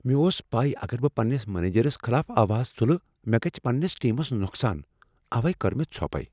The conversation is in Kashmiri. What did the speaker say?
مےٚ اوس پَے اگر بہٕ پننس منیجرس خلاف آواز تلہٕ، مےٚ گژھ پننس ٹیمس نقصان، اوے کٔر مےٚ ژھۄپٕے ۔